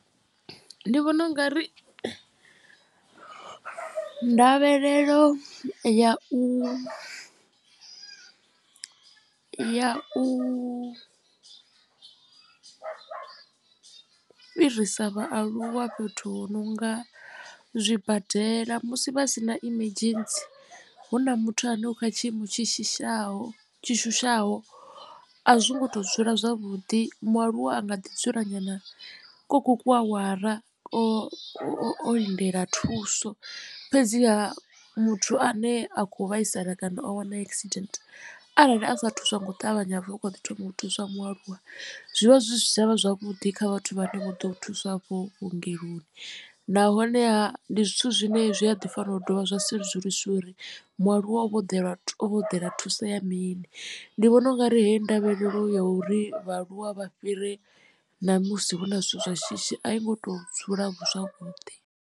Ndi vhona u nga ri ndavhelelo ya u ya u fhirisa vhaaluwa fhethu hu no nga zwibadela musi vha si na emergency hu na muthu ane u kha tshiimo tshi shushaho tshi shushaho a zwo ngo tou dzula zwavhuḓi mualuwa a nga ḓi dzula nyana koku kuawara o o lindela thuso. Fhedziha muthu ane a kho vhaisala kana o wana accident arali asa thuswa ngo ṱavhanya hapfi hu kho ḓi thoma u thuswa mualuwa zwivha zwi si tshavha zwavhuḓi kha vhathu vha ne vho ḓo u thuswa afho vhuongeloni nahone ndi zwithu zwine zwi a ḓi fanela u dovha zwa sedzulusiwa uri mualuwa o vha o ḓela thuso ya mini ndi vhona ungari hei ndavhelelo ya uri vhaaluwa vha fhire namusi hu na zwithu zwa shishi a i ngo tou dzula zwavhuḓi.